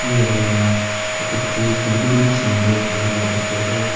eneka kurikena tate phool khan bi eman sunder kurikena rakhi ase.